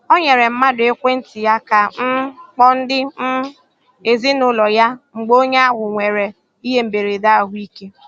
O nyere mmadụ ekwentị ya ka um kpọọ ndị um ezinaụlọ ya mgbe onye ahụ nwere ihe mberede ahụ ike.